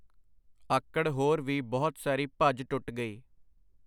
ਆਕੜ ਹੋਰ ਵੀ ਬਹੁਤ ਸਾਰੀ ਭੱਜ-ਟੁੱਟ ਗਈ.